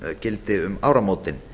gildi um áramótin